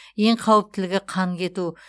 ең қауіптілігі қан кету